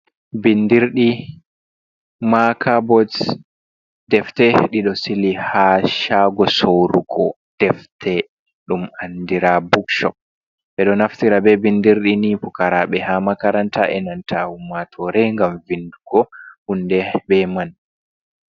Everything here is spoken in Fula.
Bindirɗi, maka bots, defte ɗiɗo sili ha shago sourugo defte ɗum andira bookshop, ɓeɗo naftira be bindirɗi ni fukaraɓe ha makaranta enanta ummatore gam vindugo hunde be man.